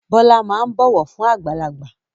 Bọlá máa ń bọ̀wọ̀ fún àgbàlagbà